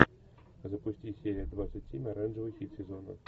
запусти серия двадцать семь оранжевый хит сезона